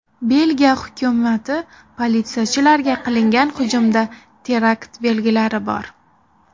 Belgiya hukumati: politsiyachilarga qilingan hujumda terakt belgilari bor.